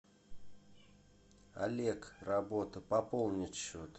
олег работа пополнить счет